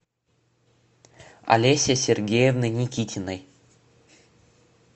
олеси сергеевны никитиной